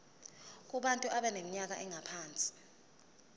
kubantu abaneminyaka engaphansi